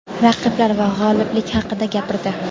raqiblar va g‘oliblik haqida gapirdi;.